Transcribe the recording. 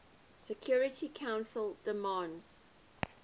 security council demands